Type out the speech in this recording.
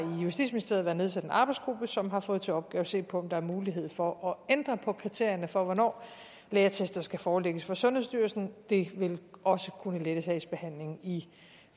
i justitsministeriet været nedsat en arbejdsgruppe som har fået til opgave at se på om der er mulighed for at ændre på kriterierne for hvornår lægeattester skal forelægges for sundhedsstyrelsen det vil også kunne lette sagsbehandlingen i